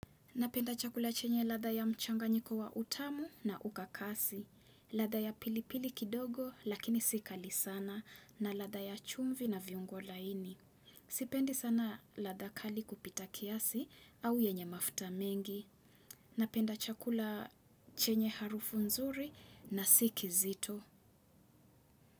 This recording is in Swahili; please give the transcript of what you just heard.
Napenda chakula chenye latha ya mchanganyiko wa utamu na ukakasi. Latha ya pilipili kidogo lakini sikali sana na latha ya chumvi na viungo laini. Sipendi sana latha kali kupita kiasi au yenye mafta mengi. Napenda chakula chenye harufu nzuri na si kiizito.